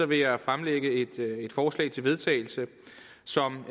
vil jeg fremlægge et forslag til vedtagelse som